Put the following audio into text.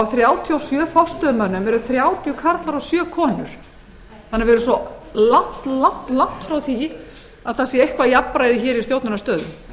þrjátíu og sjö forstöðumönnum eru þrjátíu karlar og sjö konur þannig að við erum svo langt frá því að það sé eitthvað jafnræði hér í stjórnunarstöðum